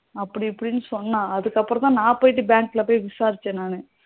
அப்படி இப்படின்னு சொன்னா அப்புறம் தான் நான் போயிட்டு bank ல போயிட்டு விசாரிச்சேன் நானு